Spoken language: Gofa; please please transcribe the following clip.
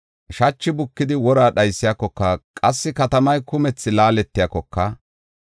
Shachi bukidi wora dhaysiyakoka, qassi katamay kumthi laaletiyakoka,